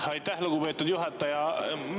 Aitäh, lugupeetud juhataja!